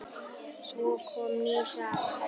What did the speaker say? Svo kom ný saga.